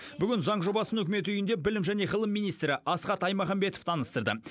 бүгін заң жобасын үкімет үйінде білім және ғылым министрі асхат аймағамбетов таныстырды